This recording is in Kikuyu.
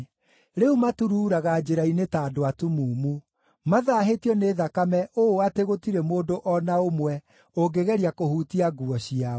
Rĩu maturuuraga njĩra-inĩ ta andũ atumumu. Mathaahĩtio nĩ thakame ũũ atĩ gũtirĩ mũndũ o na ũmwe ũngĩgeria kũhutia nguo ciao.